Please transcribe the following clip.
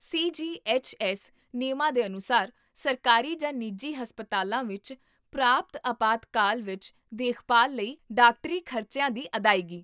CGHS. ਨਿਯਮਾਂ ਦੇ ਅਨੁਸਾਰ, ਸਰਕਾਰੀ ਜਾਂ ਨਿੱਜੀ ਹਸਪਤਾਲਾਂ ਵਿੱਚ ਪ੍ਰਾਪਤ ਅਪਾਤਕਾਲ ਵਿਚ ਦੇਖਭਾਲ ਲਈ ਡਾਕਟਰੀ ਖ਼ਰਚਿਆਂ ਦੀ ਅਦਾਇਗੀ